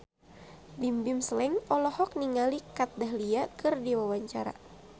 Bimbim Slank olohok ningali Kat Dahlia keur diwawancara